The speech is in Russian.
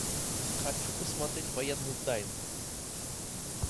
хочу посмотреть военную тайну